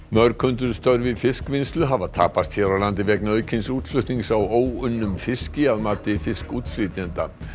mörg hundruð störf í fiskvinnslu hafa tapast hér á landi vegna aukins útflutnings á óunnum fiski að mati fiskútflytjenda